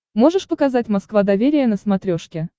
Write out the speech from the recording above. можешь показать москва доверие на смотрешке